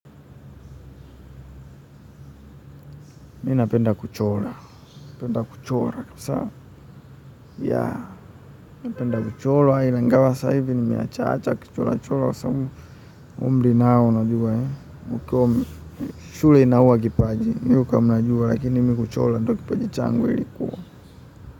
Napenda kuchora sana napenda kuchora ingawa saa hii nimeacha acha kuchora chora umri nao unajua shule inaua kipaji ukiwa lakini mimi kuchora ndio kipaji changu.